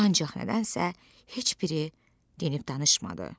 Ancaq nədənsə heç biri dinib danışmadı.